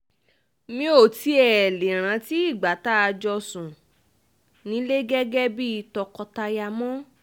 mi ò tiẹ̀ lè rántí ìgbà tá a jọ sùn nílẹ̀ gẹ́gẹ́ bíi tọkọ-taya mọ́